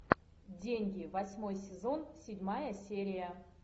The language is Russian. деньги восьмой сезон седьмая серия